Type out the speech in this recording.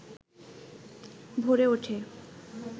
ভরে ওঠে